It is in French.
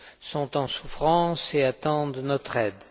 sont en souffrance et attendent notre aide.